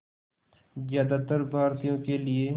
ज़्यादातर भारतीयों के लिए